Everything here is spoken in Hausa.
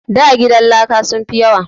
Da gidan laka sun fi yawa